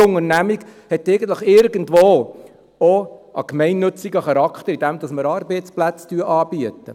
Denn jede Unternehmung hat eigentlich irgendwo auch einen gemeinnützigen Charakter, indem wir Arbeitsplätze anbieten.